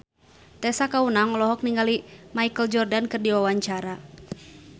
Tessa Kaunang olohok ningali Michael Jordan keur diwawancara